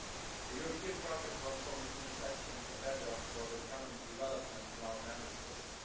The European project was from its inception a bedrock for the economic development of our Member States.